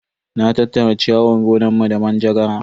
Na tattara ciyawar gonanmu da manjagara.